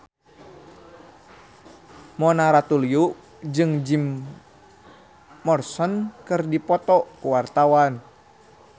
Mona Ratuliu jeung Jim Morrison keur dipoto ku wartawan